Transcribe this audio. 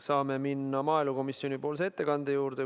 Saame minna maaelukomisjoni ettekande juurde.